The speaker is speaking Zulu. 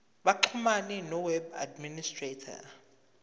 baxhumane noweb administrator